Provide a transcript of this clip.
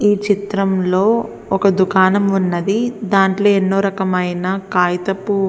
ఈ చిత్రంలో ఒక దుకాణం ఉన్నది దాంట్లో ఎన్నో రకమైన కాగితపు.